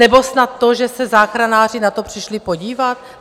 Nebo snad to, že se záchranáři na to přišli podívat?